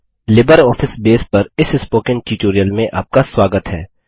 LibreOffice Base पर इस spoken tutorial में आपका स्वागत है